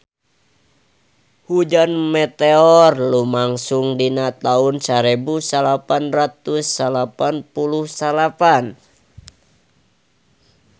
Hujan meteor lumangsung dina taun sarebu salapan ratus salapan puluh salapan